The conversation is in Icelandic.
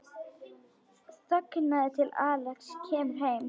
Þangað til Axel kemur heim.